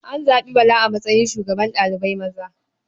An zaɓi Bala a matsayin shugaban ɗalibai maza.